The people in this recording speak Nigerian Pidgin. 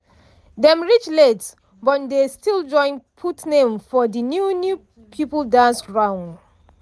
dem reach late but dey still join put name for de new new people dance round.